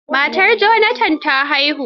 Matar Jonathan ta haihu.